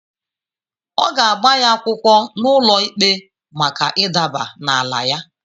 Ọ ga-agba ya akwụkwọ n’ụlọikpe maka ịdaba n’ala ya.